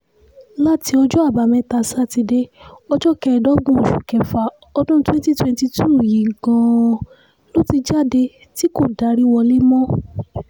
láti ọjọ́ àbámẹ́ta sátidé ọjọ́ kẹẹ̀ẹ́dọ́gbọ̀n oṣù kẹfà ọdún twenty twenty two yìí gan-an ló ti jáde tí kò darí wọlé mọ́